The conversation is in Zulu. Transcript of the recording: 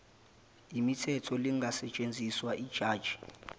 mithetho lingasetshenziswa yijaji